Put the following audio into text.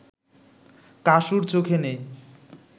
কাসুর চোখে নেই